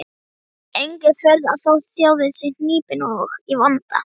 Engin furða þótt þjóðin sé hnípin og í vanda.